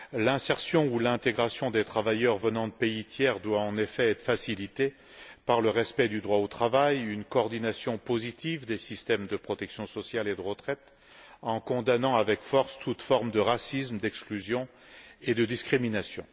L'insertion ou l'intégration des travailleurs venant de pays tiers doit, en effet, être facilitée par le respect du droit au travail, une coordination positive des systèmes de protection sociale et de retraite, en condamnant avec force toute forme de racisme, d'exclusion et de discrimination.